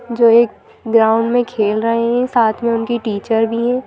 जो एक ग्राउंड में खेल रहे हैं साथ में उनकी टीचर भी हैं।